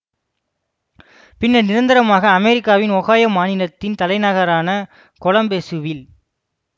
பின்னர் நிரந்தரமாக அமெரிக்காவின் ஓகைய்யோ மாநிலத்தின் தலைநகரான கொலம்பசுவில்